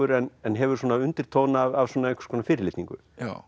en hefur svona undirtón af einhvers konar fyrirlitningu